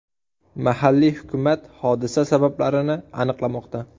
Mahalliy hukumat hodisa sabablarini aniqlamoqda.